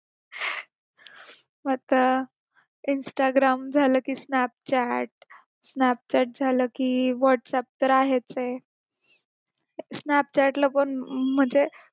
आता instagram झालं की snapchat snapchat झालं की whats app तर आहेसये snapchat ला पण म्हणजे